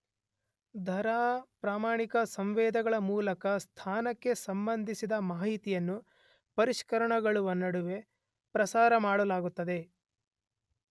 ದರ ಪ್ರಮಾಣಕ ಸಂವೇದಕಗಳ ಮೂಲಕ ಸ್ಥಾನಕ್ಕೆ ಸಂಬಂಧಿಸಿದ ಮಾಹಿತಿಯನ್ನು ಪರಿಷ್ಕರಣಗಳ ನಡುವೆ ಪ್ರಸಾರಮಾಡಲಾಗುತ್ತದೆ.